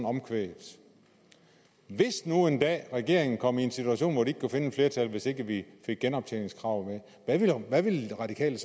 omkvædet hvis nu en dag regeringen kom i en situation hvor den ikke kunne finde flertal hvis ikke vi fik genoptjeningskravet med hvad ville det radikale